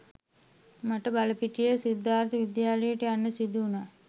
මට බලපිටියේ සිද්ධාර්ථ විද්‍යාලයට යන්නත් සිදු වුණා.